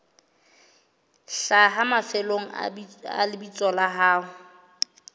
hlaha mafelong a lebitso la